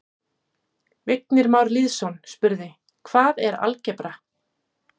Vignir Már Lýðsson spurði: Hvað er algebra?